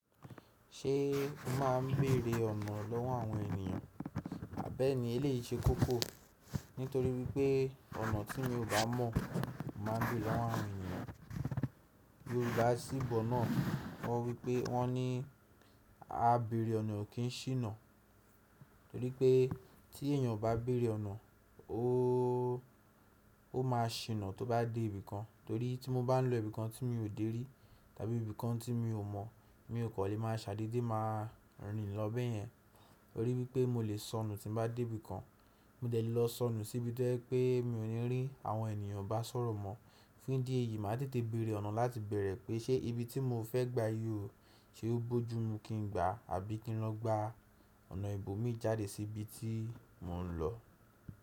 Ṣé o máa ń bèrè ọ̀nà lọ́wọ́ àwọn ènìyàn? Àbẹ́ ni, eléyìí ṣe koko nítorí wípé ọ̀nà tí mi ò bá mọ̀ máa ń bé lọ́wọ́ àwọn ènìyàn. Yorùbá síbọ̀ náà wọ́n wípé, wọ́n ní “á bèrè ọ̀nà ò kín ṣìnà”. Torí pé tí èèyàn bá bèrè ọ̀nà, ó máa ṣìnà tó bá dé ibìkan. Torí tí mo bá ń lọ ibìkan tí mi ò dé rí tàbí ibìkan tí mi ò mọ̀, mi ò kò lè máa ṣàdééde máa rìn lọ bẹ́ẹ̀ yẹn. Torí wípé mo lè sọnù tí bá dé ibìkan. Mo dẹ̀ lọ sọnù síbi tó jẹ̀ pé mi ò ní rí àwọn ènìyàn bá sọ̀rọ̀ mọ́. Fún ìdí èyí, màá tètè bèrè ọ̀nà láti bẹ̀rẹ̀ pé ṣe ibi tí mo fẹ́ gba yóò ṣe ó bójú mú kí n gba àbí kí n lọ gba ọ̀nà ìbòmí jáde sí ibi tí mò ń lọ.